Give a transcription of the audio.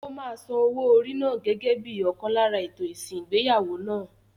Ó máa san owó orí náà gẹ́gẹ́ bíi ọ̀kan lára ètò ìsìn ìgbéyàwó náà.